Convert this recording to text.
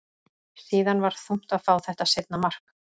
Síðan var þungt að fá þetta seinna mark.